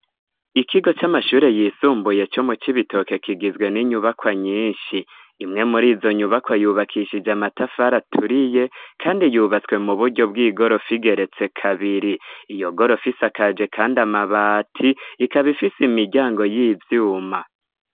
Ikigo c'amashure yisumbuye co mucibitoke kigizwe n'inyubakwa nyinshi imwe mur'izonyubakwa yubakishije amatafari aturiye kandi yubatswe m'uburyo bw'igorofa igeretse kabiri. Iyogorofa isakaje kandi amabati ikaba ifise imiryango y'ivyuma.